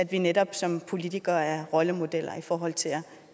vi netop som politikere er rollemodeller i forhold til